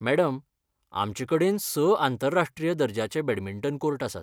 Madam, आमचे कडेन स आंतरराष्ट्रीय दर्जाचे बॅटमिंटन कोर्ट आसात.